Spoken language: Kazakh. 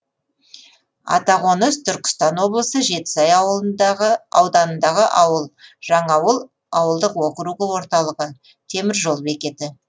атақоныс түркістан облысы жетісай ауданындағы ауыл жаңаауыл ауылдық округі орталығы темір жол бекеті